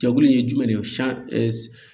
Jakulu in ye jumɛn de ye